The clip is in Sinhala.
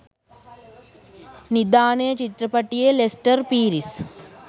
නිධානය චිත්‍රපටයේ ලෙස්ටර් පීරිස්